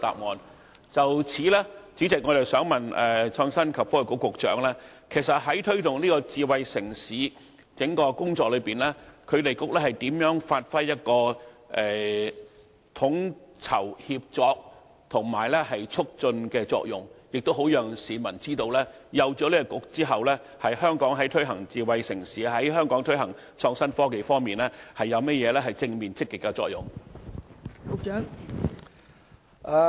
代理主席，就此，我想問創新及科技局局長，在推動智慧城市整項工作中，局方如何發揮統籌、協作及促進的作用，好讓市民知道設立創新及科技局對香港推行智慧城市和創新科技方面有何正面積極的作用？